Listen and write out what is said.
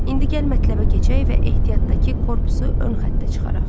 İndi gəl mətləbə keçək və ehtiyatdakı korpusu ön xəttə çıxaraq.